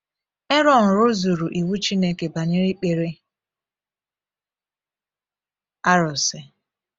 Erọn rụzuru iwu Chineke banyere ikpere arụsị.